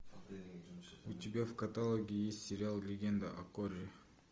у тебя в каталоге есть сериал легенда о корре